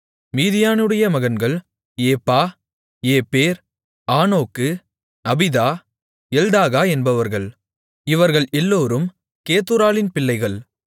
மீதியானுடைய மகன்கள் ஏப்பா ஏப்பேர் ஆனோக்கு அபீதா எல்தாகா என்பவர்கள் இவர்கள் எல்லோரும் கேத்தூராளின் பிள்ளைகள்